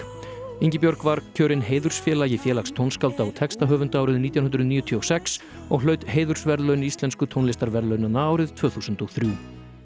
Ingibjörg var kjörin heiðursfélagi Félags tónskálda og textahöfunda árið nítján hundruð níutíu og sex og hlaut heiðursverðlaun íslensku tónlistarverðlaunanna árið tvö þúsund og þrjú